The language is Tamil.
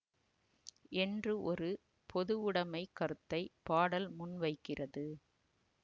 என்று ஒரு பொதுவுடமைக் கருத்தை பாடல் முன்வைக்கிறது